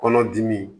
Kɔnɔdimi